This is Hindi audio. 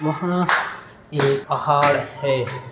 वहाँ एक पहाड़ है।